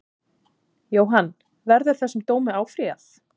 Jóhann: Verður þessum dómi áfrýjað?